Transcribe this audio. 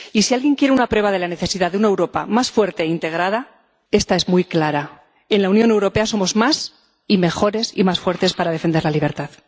Y, si alguien quiere una prueba de la necesidad de una Europa más fuerte e integrada, esta es muy clara en la Unión Europea somos más, y mejores, y más fuertes para defender la libertad.